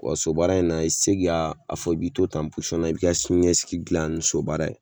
Wa sobaara in na i ti se ka a fɔ i bi to tan na i b'i ka siniɲɛsigi gilan ni sobaara ye.